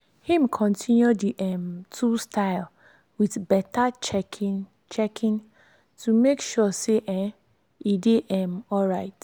him continue the um two style with better checking checking to make sure say um e dey um alright.